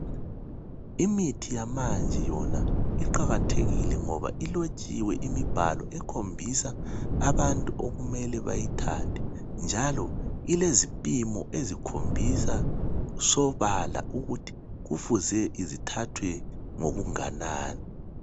Imithi yamanje yona iqakathekile ngoba ilotshiwe imibhalo ekhombisa abantu okumele bayithathe njalo ilezipimo ezikhombisa sobala ukuthi kufuze zithathwe ngokunganani.